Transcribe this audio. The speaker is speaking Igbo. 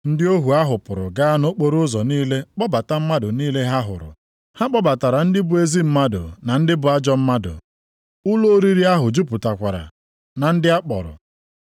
Ndị ohu ahụ pụrụ gaa nʼokporoụzọ niile kpọbata mmadụ niile ha hụrụ. Ha kpọbatara ndị bụ ezi mmadụ na ndị bụ ajọ mmadụ. Ụlọ oriri ahụ jupụtakwara na ndị a kpọrọ.